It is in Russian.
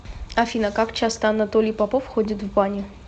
афина как часто анатолий попов ходит в баню